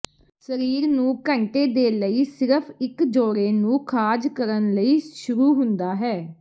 ਸਰੀਰ ਨੂੰ ਘੰਟੇ ਦੇ ਲਈ ਸਿਰਫ ਇੱਕ ਜੋੜੇ ਨੂੰ ਖਾਜ ਕਰਨ ਲਈ ਸ਼ੁਰੂ ਹੁੰਦਾ ਹੈ